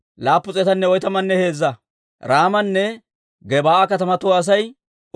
Looda, Hadiidanne Oono katamatuwaa Asay 725.